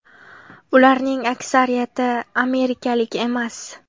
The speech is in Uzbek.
Ularning aksariyati amerikalik emas.